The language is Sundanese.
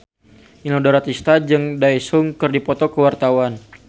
Inul Daratista jeung Daesung keur dipoto ku wartawan